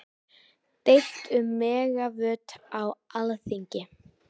Deilt um megavött á Alþingi